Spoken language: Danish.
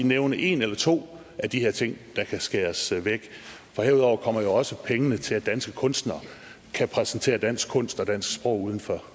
nævne en eller to af de her ting der kan skæres væk for herudover kommer jo også pengene til at danske kunstnere kan præsentere dansk kunst og dansk sprog uden for